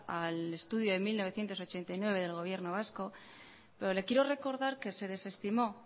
al estudio de mil novecientos ochenta y nueve del gobierno vasco pero le quiero recordar que se desestimó